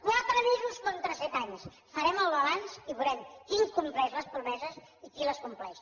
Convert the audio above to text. quatre mesos contra set anys farem el balanç i veurem qui incompleix les promeses i qui les compleix